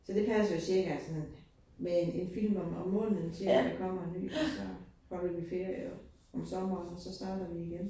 Så det passer jo cirka sådan med 1 film om om måneden til at der kommer en ny, og så holder vi ferie om sommeren, og så starter vi igen